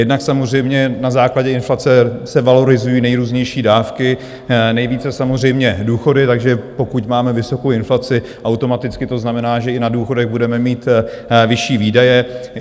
Jednak samozřejmě na základě inflace se valorizují nejrůznější dávky, nejvíce samozřejmě důchody, takže pokud máme vysokou inflaci, automaticky to znamená, že i na důchodech budeme mít vyšší výdaje.